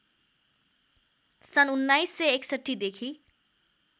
सन् १९६१ देखि